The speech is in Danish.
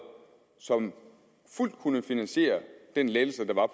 som fuldt ud kunne finansiere en lettelse der var